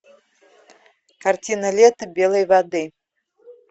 картина лето белой воды